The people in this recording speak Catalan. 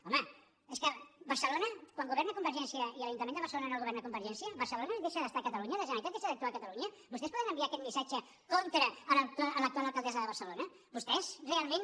home és que quan governa convergència i l’ajuntament de barcelona no el governa convergència barcelona deixar d’estar a catalunya la generalitat deixa d’actuar a barcelona vostès poden enviar aquest missatge contra l’actual alcaldessa de barcelona vostès realment